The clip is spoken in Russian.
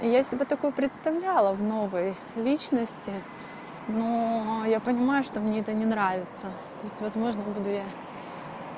я себя такую представляла в новой личности но я понимаю что мне это не нравится то есть возможно буду я